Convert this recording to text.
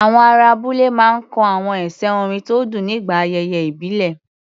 Àwọn ará abúlé máa ń kọ àwọn ẹsẹ̀ orin tó dùn nígbà ayẹyẹ ìbílẹ̀.